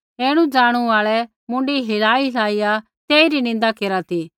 ऐणुज़ाणू आल़ै मुँडी थलाई थलाइया तेइरी निन्दा केरा ती